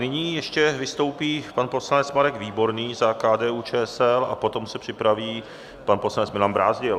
Nyní ještě vystoupí pan poslanec Marek Výborný za KDU-ČSL a potom se připraví pan poslanec Milan Brázdil.